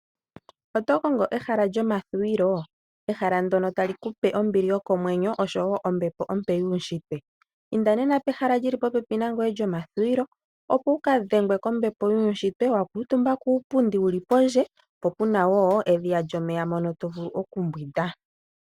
Oto kongo ehala lyomathuwilo, ehala ndyono talikupe ombili yokomwenyo oshowo ombepo ompe yuunshitwe, inda nena pehala lyili popepi nangoye lyomathuwilo, opo wukadhengwe kombepo yuunshitwe, wakuuntumba puupundi wuli pondje, po puna wo edhiya lyomeya mono tovulu okumbwinda.